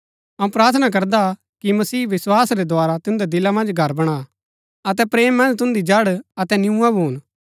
अऊँ प्रार्थना करदा हा कि मसीह विस्वास रै द्धारा तुन्दै दिला मन्ज घर बणा अतै प्रेम मन्ज तुन्दी जड़ अतै नियूआं भून